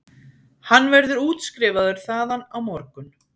Hann verður útskrifaður þaðan á morgun